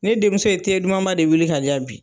Ne denmuso ye dumanba de wuli ka di yan bi.